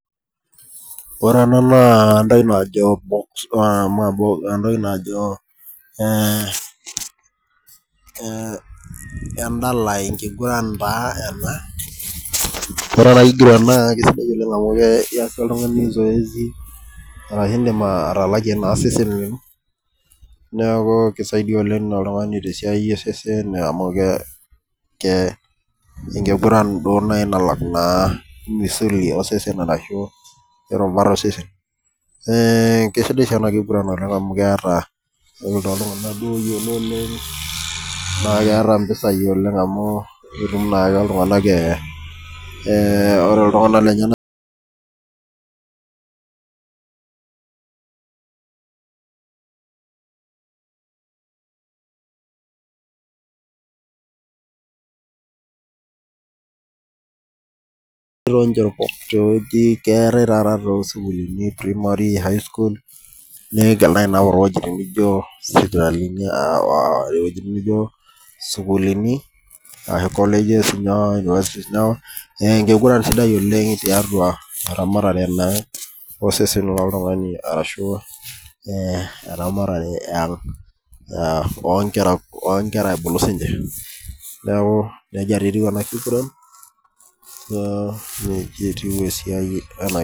Ore entoki najo ee endala enkiguran taa ena ore enakiguran naa ekisidai oleng amu indim atalakie osesen lino neaku kisaidia oltungani tesiai osesen amu enkiguran duo nai nalak misuli ashu irbuat osesen na kesidai si enakiguran amu keeta ore toltunganak oyiolo Oleng na keeta mpisai oleng amu etum naake ltunganak e ore ltunganak lenyenak[break] keetae taata tosukulini nijo sukuulini enkiguran sidai oleng tiatua eramatare oltungani ashu eramatare onkera eang ebulu sinche neaku nejia naa etiu enakiguran